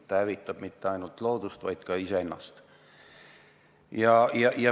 Ta ei hävita mitte ainult loodust, vaid ka iseennast.